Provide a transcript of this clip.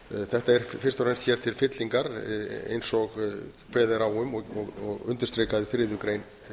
þetta er fyrst og fremst hér til fyllingar eins og kveðið er á um og undirstrikað í þriðju grein